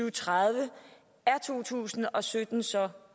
og tredive er to tusind og sytten så